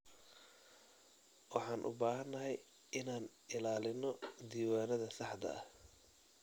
Waxaan u baahanahay inaan ilaalino diiwaanada saxda ah.